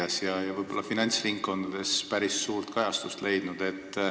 See on ka meedias ja finantsringkondades päris suurt kajastust leidnud.